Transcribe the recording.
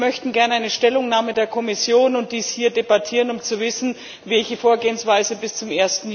Wir möchten gern eine Stellungnahme der Kommission und dies hier debattieren, um zu wissen, welche Vorgehensweise bis zum